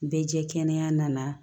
Bɛɛ jɛ kɛnɛ nana